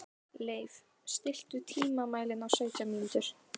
Leif, stilltu tímamælinn á sautján mínútur.